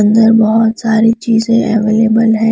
इधर बहुत सारी चीजें एवेलेबल है।